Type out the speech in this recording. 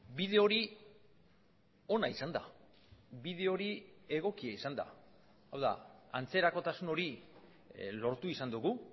bide hori ona izan da bide hori egokia izan da hau da antzerakotasun hori lortu izan dugu